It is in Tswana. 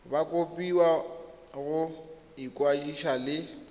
ba kopiwa go ikwadisa le